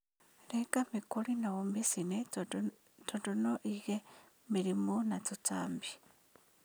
Renga mĩkori na ũmĩcine tandũ no ĩige mĩrĩmũ na tũtambi.